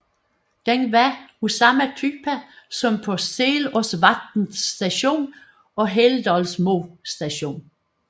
Den var af samme type som på Selåsvatn Station og Helldalsmo Station